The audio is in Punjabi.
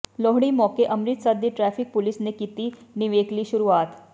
ਲੋਹੜੀ ਮੌਕੇ ਅੰਮਿ੍ਤਸਰ ਦੀ ਟ੍ਰੈਫਿਕ ਪੁਲਿਸ ਨੇ ਕੀਤੀ ਨਿਵੇਕਲੀ ਸ਼ੁਰੂਆਤ